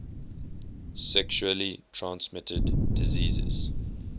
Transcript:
sexually transmitted diseases